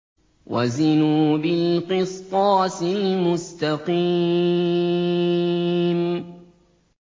وَزِنُوا بِالْقِسْطَاسِ الْمُسْتَقِيمِ